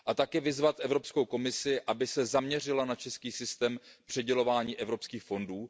Chtěl bych také vyzvat Evropskou komisi, aby se zaměřila na český systém přidělování evropských fondů.